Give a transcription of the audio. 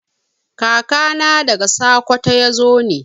Kaka na daga sakwato ne.